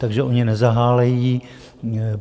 Takže oni nezahálejí.